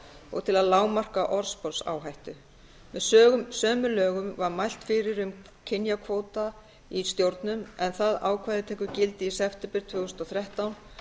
og til að lágmarka orðsporsáhættu með sömu lögum var mælt fyrir um kynjakvóta í stjórnun en það ákvæði tekur gildi í september tvö þúsund og þrettán